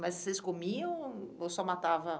Mas vocês comiam ou só matava?